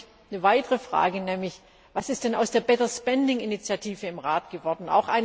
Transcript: Dann habe ich eine weitere Frage Was ist denn aus der Better Spending Initiative im Rat geworden?